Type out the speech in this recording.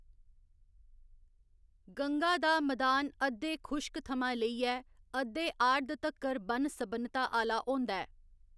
गंगा दा मैदान अद्धे खुश्क थमां लेइयै अद्धे आर्द तक्कर बन्न सबन्नता आह्‌ला होंदा ऐ।